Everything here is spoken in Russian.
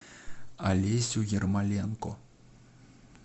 алесю ермоленко